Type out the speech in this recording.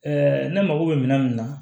ne mago bɛ minɛn min na